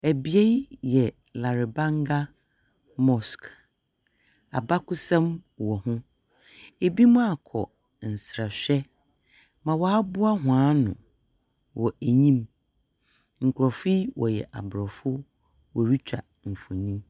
Bea yi yɛ Larebanga Mosque. Abakɔsɛm wɔ ho. Binom akɔ nsrahwɛ ma wɔaboa hɔn ano wɔ enyim. Nkurɔfo yi wɔyɛ Aborɔfo. Wɔretwa mfonyin.